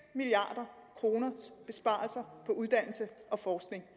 milliard kroner på uddannelse og forskning